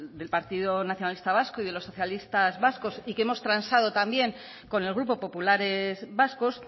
del partido nacionalista vasco y de los socialistas vascos y que hemos transado también con el grupo populares vascos